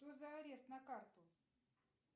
что за арест на карту